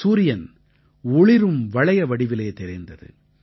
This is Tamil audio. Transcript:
சூரியன் ஒளிரும் வளைய வடிவிலே தெரிந்தது